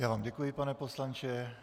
Já vám děkuji, pane poslanče.